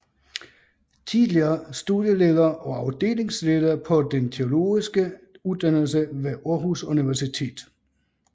Tidligere studieleder og afdelingsleder på den teologiske uddannelse ved Aarhus Universitet